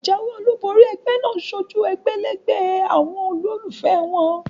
Ìjáwé olúbori egbé náà sojú egbèlégbè àwon olólùfé won